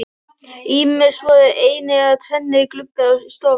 Ýmist voru einir eða tvennir gluggar á stofunni.